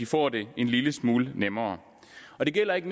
får det en lille smule nemmere og det gælder ikke